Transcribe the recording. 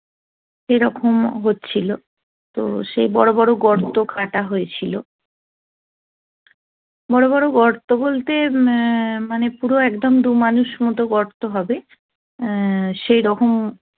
এরকম হচ্ছিল তো সেই বড় বড় গর্ত কাটা হয়েছিল বড় বড় গর্ত বলতে মানে পুরো একদম দু মানুষ মত গর্ত হবে আ সেরকম